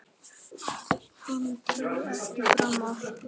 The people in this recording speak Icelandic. Hann bauð ekki fram aftur.